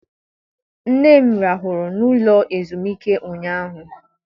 Nne m rahụrụ n'ụlọ ezumike ụnyaahụ.